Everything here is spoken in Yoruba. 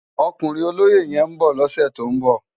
Òkúnrin ólóyé yèn n bò lòsè tó n bò